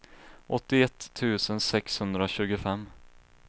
åttioett tusen sexhundratjugofem